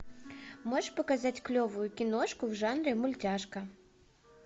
можешь показать клевую киношку в жанре мультяшка